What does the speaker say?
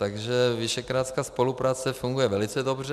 Takže visegrádská spolupráce funguje velice dobře.